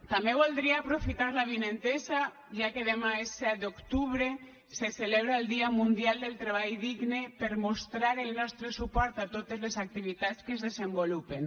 també voldria aprofitar l’avinentesa ja que demà és set d’octubre se celebra el dia mundial del treball digne per mostrar el nostre suport a totes les activitats que es desenvolupen